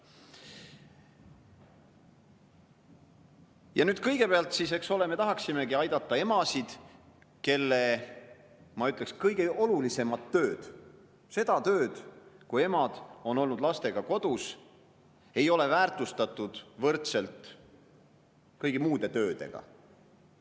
Ja nüüd kõigepealt, eks ole, me tahaksimegi aidata emasid, kelle tööd, ma ütleksin, kõige olulisemat tööd – seda tööd, kui emad on olnud lastega kodus – ei ole väärtustatud võrdselt kõigi muude töödega.